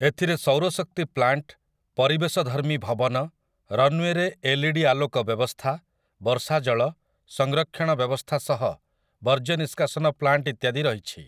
ଏଥିରେ ସୌର ଶକ୍ତି ପ୍ଲାଣ୍ଟ, ପରିବେଶଧର୍ମୀ ଭବନ, ରନୱେରେ ଏଲ୍ଇଡି ଆଲୋକ ବ୍ୟବସ୍ଥା, ବର୍ଷାଜଳ, ସଂରକ୍ଷଣ ବ୍ୟବସ୍ଥା ସହ ବର୍ଜ୍ୟ ନିଷ୍କାସନ ପ୍ଲାଣ୍ଟ ଇତ୍ୟାଦି ରହିଛି ।